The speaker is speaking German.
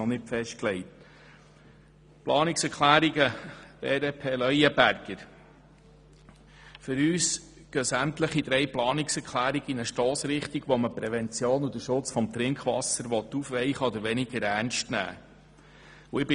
Die Planungserklärungen BDP Leuenberger gehen für uns in eine Richtung, mit der man die Prävention und den Schutz des Trinkwassers aufweichen oder weniger ernst nehmen will.